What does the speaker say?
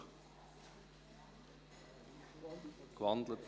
Jawohl, die Motion wurde gewandelt.